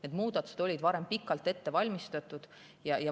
Need muudatused olid varem pikalt ette valmistatud.